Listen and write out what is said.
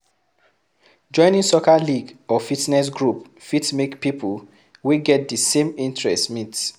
Joining soccer league or fitness group fit make people wey get the same interest meet